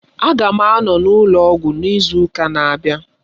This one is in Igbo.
Aga m anọ n'ụlọ ọgwụ n'izu ụka na-abịa.